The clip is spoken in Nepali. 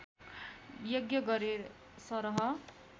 यज्ञ गरे सरह